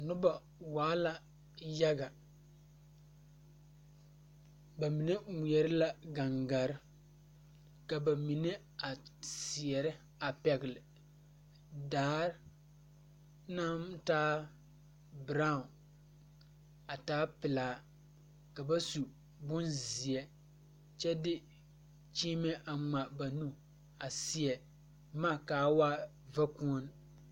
Nobɔ waa la yaga ba mine ngmeɛrɛ la gaŋgarre ka ba mine a seɛrɛ a pɛgle daare naŋ taa braawn a taa pelaa ka ba su bonzeɛ kyɛ de kyiimɛ a ngmaa a ba nu a seɛ boma kaa waa vakuone.